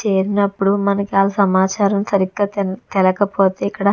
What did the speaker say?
చేసినప్పుడు మనకు ఆ సమాచారం సరిగ్గా తినకపోతే ఇక్కడ --